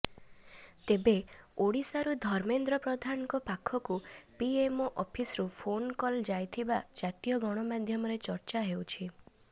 ତେବେ ଓଡ଼ିଶାରୁ ଧର୍ମେନ୍ଦ୍ର ପ୍ରଧାନଙ୍କ ପାଖକୁ ପିଏମଓ ଅଫିସରୁ ଫୋନ କଲ ଯାଇଥିବା ଜାତୀୟ ଗଣମାଧ୍ୟମରେ ଚର୍ଚ୍ଚା ହେଉଛି